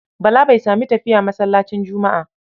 Bala bai sami tafiya masallacin Juma'a.